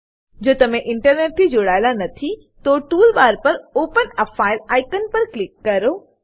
જો તમે ઈન્ટરનેટ થી જોડાયેલા નથી તો ટૂલ બાર પર ઓપન એ ફાઇલ આઇકન પર ક્લિક કરો